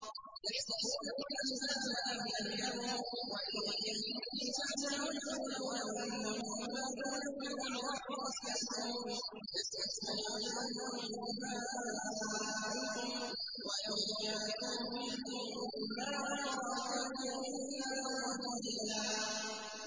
يَحْسَبُونَ الْأَحْزَابَ لَمْ يَذْهَبُوا ۖ وَإِن يَأْتِ الْأَحْزَابُ يَوَدُّوا لَوْ أَنَّهُم بَادُونَ فِي الْأَعْرَابِ يَسْأَلُونَ عَنْ أَنبَائِكُمْ ۖ وَلَوْ كَانُوا فِيكُم مَّا قَاتَلُوا إِلَّا قَلِيلًا